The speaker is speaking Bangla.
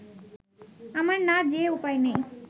আমার না যেয়ে উপায় নেই